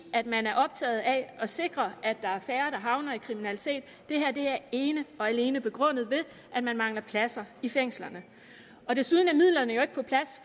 at man er optaget af at sikre at der er færre der havner i kriminalitet det her er ene og alene begrundet ved at man mangler pladser i fængslerne desuden er midlerne jo ikke på plads